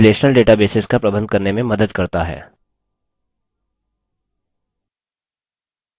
अब यह हमें relational databases का प्रबंध करने में मदद करता है